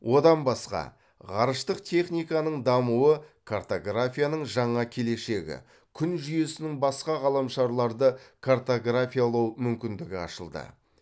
одан басқа ғарыштық техниканың дамуы картографияның жаңа келешегі күн жүйесінің басқа ғаламшарларды картографиялау мүмкіндігі ашылды